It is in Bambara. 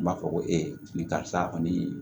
N b'a fɔ ko ee ni karisa kɔni